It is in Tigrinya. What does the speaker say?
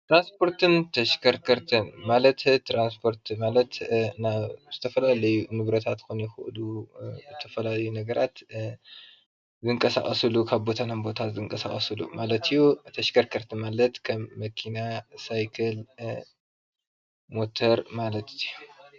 ትራንስፖርትን ተሽኸርኸርቲን ማለት ትራንስፖርት ማለት ናብ ዝተፈላለዩ ንብረታት ክኾኑ ይክእሉ ዝተፈላለዩ ነገራት ዝንቀሳቀስሉ ካብ ቦታ ናብ ቦታ ዝንቀሳቀስሉ ማለት እዩ ፤ ተሽኸርኸርቲ ማለት ከም መኪና፣ ሳይክል፣ ሞተር ማለት እዩ።